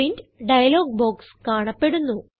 print dialogue box കാണപ്പെടുന്നു